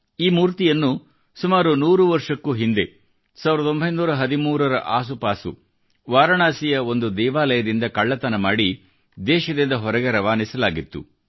ಈ ಮೂರ್ತಿಯನ್ನು ಸುಮಾರು 100 ವರ್ಷಕ್ಕೂ ಹಿಂದೆ 1913 ರ ಆಸುಪಾಸು ವಾರಣಾಸಿಯ ಒಂದು ದೇವಾಲಯದಿಂದ ಕಳ್ಳತನ ಮಾಡಿ ದೇಶದಿಂದ ಹೊರಕ್ಕೆ ರವಾನಿಸಲಾಗಿತ್ತು